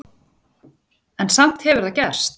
En samt hefur það gerst.